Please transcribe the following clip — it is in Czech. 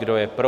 Kdo je pro?